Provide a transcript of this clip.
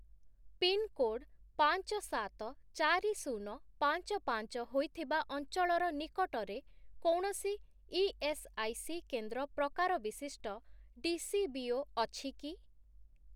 Pin code ପାଞ୍ଚ, ସାତ, ଚାରି, ଶୂନ, ପାଞ୍ଚ, ପାଞ୍ଚ ହୋଇଥିବା ଅଞ୍ଚଳର ନିକଟରେ କୌଣସି ଇଏସ୍ଆଇସି କେନ୍ଦ୍ର ପ୍ରକାର ବିଶିଷ୍ଟ ଡିସିବିଓ ଅଛି କି?